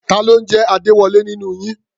Ta ló ń jẹ́ Adéwọlé nínú yín?